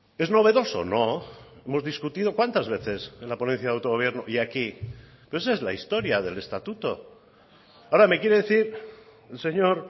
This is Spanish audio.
es novedoso no hemos discutido cuántas veces en la ponencia de autogobierno y aquí pero esa es la historia del estatuto ahora me quiere decir el señor